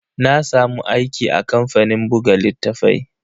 Na samu aiki a kamfanin buga littatafai.